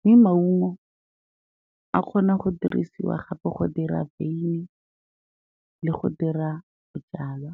Mme maungo a kgona go dirisiwa gape go dira wyn le go dira bojalwa.